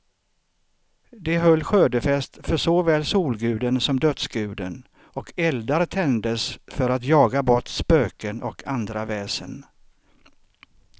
De höll skördefest för såväl solguden som dödsguden, och eldar tändes för att jaga bort spöken och andra väsen.